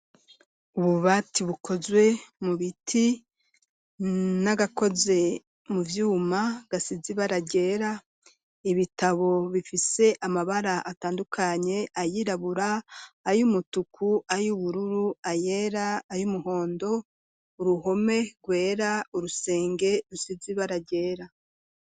Ububati, bukozwe mu biti, n'agakoze mu vyuma, gasize ibara ryera, ibitabo bifise amabara, atandukanye; ayirabura, ay'umutuku, ay'ubururu, ayera, ay'umuhondo; uruhome rwera, urusenge rusize, ibara ryera.